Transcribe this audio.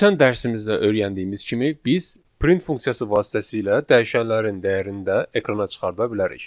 Ötən dərsimizdə öyrəndiyimiz kimi biz print funksiyası vasitəsilə dəyişənlərin dəyərini də ekrana çıxarda bilərik.